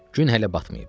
Gün hələ batmayıbdu.